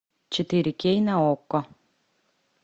четыре кей на окко